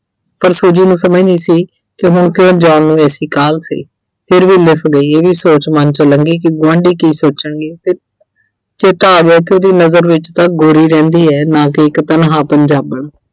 ਪਰ Suji ਨੂੰ ਸਮਝ ਨਹੀਂ ਸੀ ਕਿ ਹੁਣ ਕਿਉਂ John ਨੂੰ ਐਸੀ ਕਾਹਲ ਸੀ। ਫਿਰ ਵੀ ਗਈ, ਇਹੀ ਸੋਚ ਮਨ ਚੋਂ ਲੰਘੀ ਕਿ ਗੁਆਂਢੀ ਕੀ ਸੋਚਣਗੇ ਤੇ ਚੇਤਾ ਆ ਗਿਆ ਕਿ ਉਹਦੇ ਨਗਰ ਵਿੱਚ ਤਾਂ ਗੋਰੀ ਰਹਿੰਦੀ ਏ ਨਾ ਕਿ ਇੱਕ ਤਨਹਾ ਪੰਜਾਬਣ।